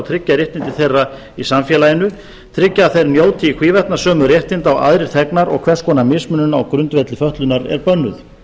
tryggja réttindi þeirra í samfélaginu tryggja að þeir njóti í hvívetna sömu réttinda og aðrir þegnar og hvers konar mismunun á grundvelli fötlun er bönnuð